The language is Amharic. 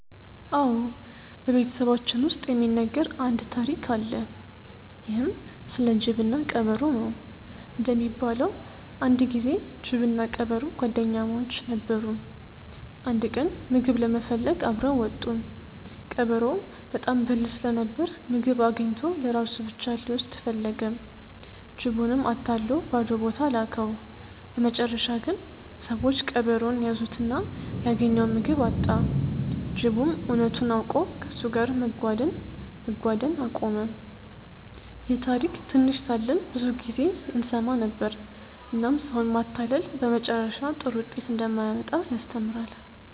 አዎ፣ በቤተሰባችን ውስጥ የሚነገር አንድ ታሪክ አለ። ይህም ስለ ጅብና ቀበሮ ነው። እንደሚባለው አንድ ጊዜ ጅብና ቀበሮ ጓደኛሞች ነበሩ። አንድ ቀን ምግብ ለመፈለግ አብረው ወጡ። ቀበሮው በጣም ብልህ ስለነበር ምግብ አግኝቶ ለራሱ ብቻ ሊወስድ ፈለገ። ጅቡንም አታሎ ባዶ ቦታ ላከው። በመጨረሻ ግን ሰዎች ቀበሮውን ያዙትና ያገኘውን ምግብ አጣ። ጅቡም እውነቱን አውቆ ከእሱ ጋር መጓደን አቆመ። ይህን ታሪክ ትንሽ ሳለን ብዙ ጊዜ እንሰማ ነበር፣ እናም ሰውን ማታለል በመጨረሻ ጥሩ ውጤት እንደማያመጣ ያስተምራል።